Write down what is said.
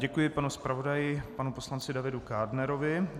Děkuji panu zpravodaji, panu poslanci Davidu Kádnerovi.